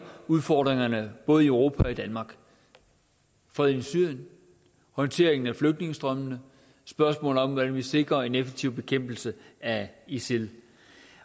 udfordringerne både i europa og i danmark freden i syrien håndteringen af flygtningestrømmene spørgsmålet om hvordan vi sikrer en effektiv bekæmpelse af isil